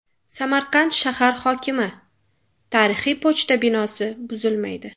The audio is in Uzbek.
Samarqand shahar hokimi: tarixiy pochta binosi buzilmaydi.